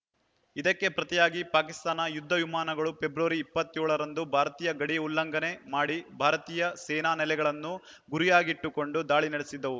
ಇದಕ್ಕೆ ಪ್ರತಿಯಾಗಿ ಪಾಕಿಸ್ತಾನ ಯುದ್ಧ ವಿಮಾನಗಳು ಫೆಬ್ರವರಿ ಇಪ್ಪತ್ತ್ ಏಳ ರಂದು ಭಾರತೀಯ ಗಡಿ ಉಲ್ಲಂಘನೆ ಮಾಡಿ ಭಾರತೀಯ ಸೇನಾ ನೆಲೆಗಳನ್ನು ಗುರಿಯಾಗಿಟ್ಟುಕೊಂಡು ದಾಳಿ ನಡೆಸಿದ್ದವು